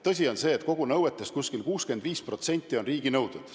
Tõsi on see, et nõuetest umbes 65% on riiginõuded.